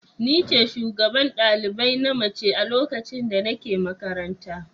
Ni ce shugaban ɗalibai na mace a lokacin da nake makaranta.